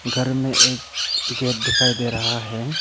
घर में एक गेट दिखाई दे रहा है।